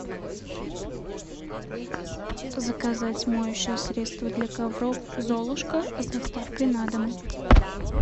заказать моющее средство для ковров золушка с доставкой на дом